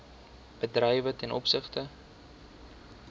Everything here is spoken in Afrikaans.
bedrywe ten opsigte